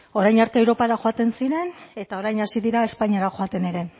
orain arte europara joaten ziren eta orain hasi dira espainiara joaten ere